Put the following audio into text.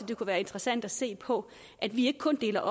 det kunne være interessant at se på at vi ikke kun deler